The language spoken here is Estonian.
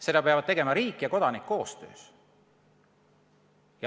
Seda peavad tegema riik ja kodanik koostöös.